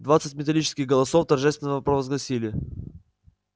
двадцать металлических голосов торжественно провозгласили